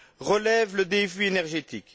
relève le défi énergétique.